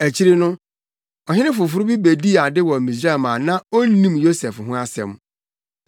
Akyiri no, ɔhene foforo bi bedii ade wɔ Misraim a na onnim Yosef ho asɛm.